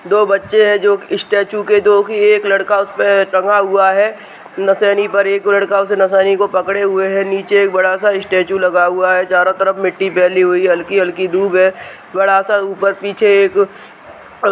दो बच्चे हैं जो स्टेचू के जो कि एक लड़का उस पे टंगा हुआ है | नसैनी पर एक लड़का उस नसैनी को पकड़े हुए है| नीचे एक बड़ा सा स्टेचू लगा हुआ है| चारों तरफ मिट्टी फैली हुइ है | हल्की- हल्की धूप है | बड़ा सा ऊपर पीछे एक--